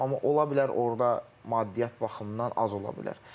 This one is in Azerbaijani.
amma ola bilər orda maddiyyat baxımından az ola bilər.